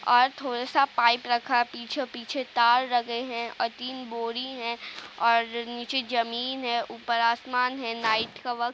और थोड़ा सा पाइप रखा है पीछे-पीछे तार लगे है और तीन बोरी हैं और नीचे जमीन है ऊपर आसमान है। नाईट का वक्त --